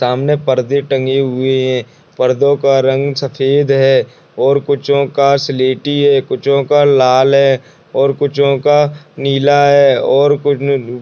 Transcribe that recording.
सामने पर्दे टंगे हुए हैं पर्दो का रंग सफ़ेद है और कुछो का स्लेटी है कुछो का लाल है और कुछो का नीला है और --